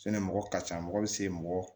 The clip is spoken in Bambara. mɔgɔ ka ca mɔgɔ bɛ se mɔgɔ